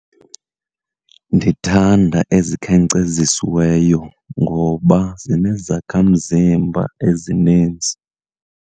Ndithanda ezikhenkcezisiweyo, ngoba zinezakhamzimba ezinintsi.